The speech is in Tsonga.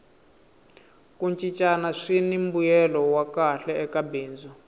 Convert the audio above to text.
ku cincana swini mbuyelo wa kahle eka bindzu